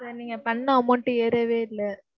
sir நீங்க பன்ண amount ஏறவே இல்ல.